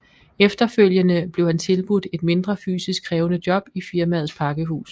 Efterfølgende blev han tilbudt et mindre fysisk krævende job i firmaets pakkehus